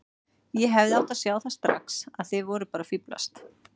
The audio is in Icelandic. Ég hefði átt að sjá það strax að þið voruð bara að fíflast.